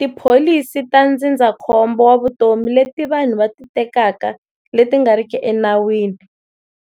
Tipholisi ta ndzindzakhombo wa vutomi leti vanhu va ti tekaka leti nga riki enawini